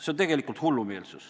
" See on tegelikult hullumeelsus.